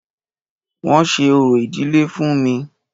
Wọ́n ṣe orò ìdílé fún mí.